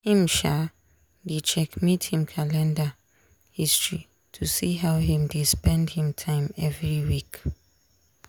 him um dey checkmate him calender history to see how him dey spend him time every week.